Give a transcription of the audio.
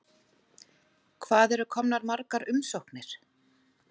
Hvað eru komnar margar umsóknir?